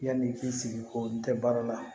Yanni i k'i sigi ko n tɛ baara la